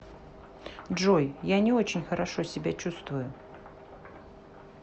джой я не очень хорошо себя чувствую